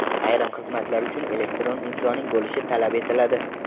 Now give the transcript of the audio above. Ayrim xizmatlar uchun elektron imzoning bo‘lishi talab etiladi.